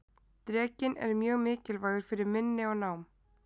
drekinn er mjög mikilvægur fyrir minni og nám